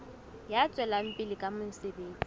ya tswelang pele ka mosebetsi